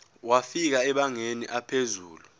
wafika emabangeni aphezulu